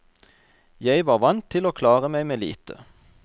Jeg var vant til å klare meg med lite.